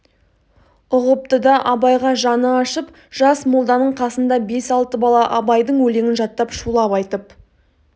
ұғыпты да абайға жаны ашып жас молданың қасында бес-алты бала абайдың өлеңін жаттап шулап айтып